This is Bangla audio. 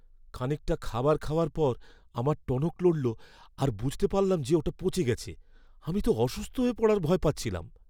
খানিকটা খাবার খাওয়ার পর আমার টনক নড়লো আর বুঝতে পারলাম যে ওটা পচে গেছে। আমি তো অসুস্থ হয়ে পড়ার ভয় পাচ্ছিলাম।